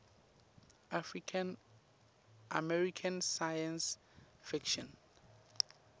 american science fiction